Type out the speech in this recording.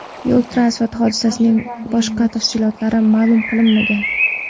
Yo‘l-transport hodisasining boshqa tafsilotlari ma’lum qilinmagan.